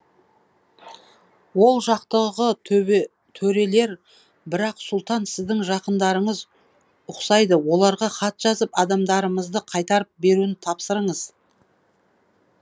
ол жақтағы төрелер сұлтан сіздің жақындарыңыз ұқсайды оларға хат жазып адамдарымызды қайтарып беруін тапсырыңыз